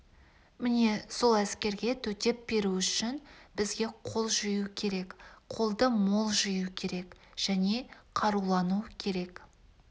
міне сол әскерге төтеп беру үшін бізге қол жию керек қолды мол жию керек және қарулану керек